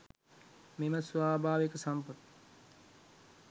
මෙම ස්වාභාවික සම්පත්